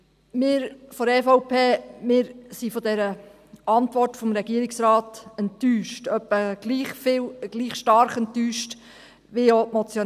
Wir von der EVP sind von der Antwort des Regierungsrats etwa gleich stark enttäuscht, wie die Motionäre.